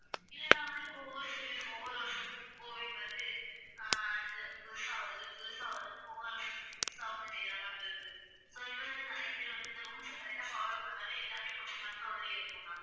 இல்லைன்னா வந்து ஒவ்வொரு வருஷத்துக்கும் கோவிட் வந்து அஹ் அடுத்த வருஷம் ஆகறதுக்குள்ள புதுசா வருது ஒவ்வொரு வருசத்துக்கு புதுசா வந்துட்டேதான் ma'am இருக்கு. so இங்க வந்து நிறைய பேர் வந்து இந்த rules அ correct ஆ follow பண்ணாலே எல்லாமே கொஞ்சம் control லயே இருக்கும் ma'am